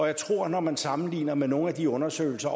jeg tror når man sammenligner med nogle af de undersøgelser